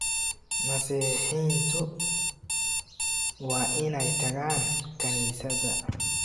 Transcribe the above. Masiixiyiintu waa inay tagaan kaniisadda